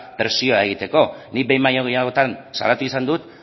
presioa egiteko nik behin baino gehiagotan salatu izan dut